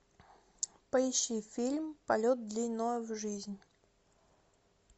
поищи фильм полет длиною в жизнь